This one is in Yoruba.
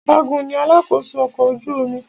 Ọ̀gágun ní alakósó ọkọ̀ ojú omi.